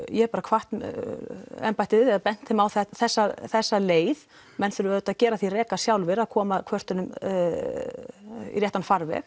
ég hef bara hvatt embættið eða bent þeim á þessa þessa leið menn þurfa auðvitað að gera því reka sjálfir að koma kvörtunum í réttan farveg